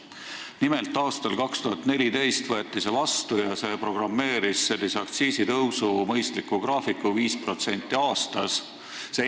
Nimelt, aastal 2014 võeti see vastu ja see programmeeris aktsiisitõusu mõistliku graafiku, 5% aastas.